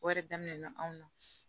O yɛrɛ daminɛna anw na